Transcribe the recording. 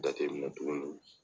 Jateminɛ tuguni